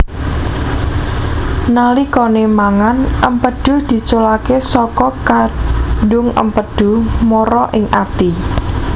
Nalikane mangan empedhu diculake saka kandung empedhu mara ing ati